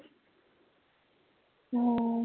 ও